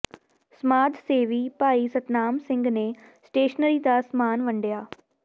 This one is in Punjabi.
ਸਮਾਜ ਸੇਵੀ ਭਾਈ ਸਤਨਾਮ ਸਿੰਘ ਨੇ ਸ਼ਟੇਸਨਰੀ ਦਾ ਸਾਮਾਨ ਵੰਡਿਆ